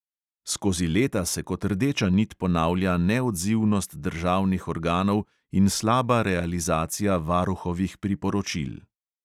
Skozi leta se kot rdeča nit ponavlja neodzivnost državnih organov in slaba realizacija varuhovih priporočil.